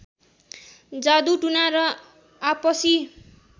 जादु टुना र आपसी